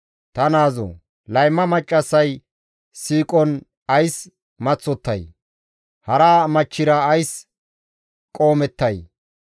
Ta naazoo! Layma maccassay siiqon ays maththottay? Hara asa machchira ays qoomettay?